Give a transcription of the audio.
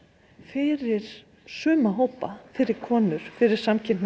fyrir suma hópa fyrir konur fyrir